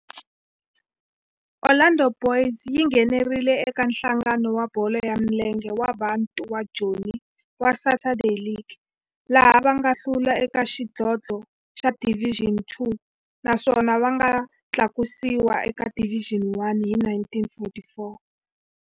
Orlando Boys yi nghenelerile eka Nhlangano wa Bolo ya Milenge wa Bantu wa Joni wa Saturday League, laha va nga hlula eka xidlodlo xa Division Two naswona va nga tlakusiwa eka Division One hi 1944.